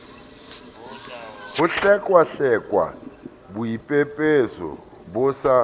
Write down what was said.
ho hlekwahlekwa boipepeso bo sa